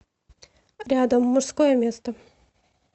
рядом мужское место